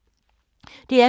DR P2